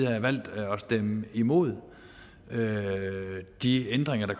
have valgt at stemme imod de ændringer der